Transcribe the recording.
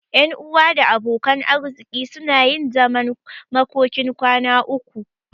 Ƴan uwa da abokan arziki suna yin zaman makokin kwana uku.